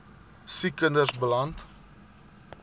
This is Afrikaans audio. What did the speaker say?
siek kinders beland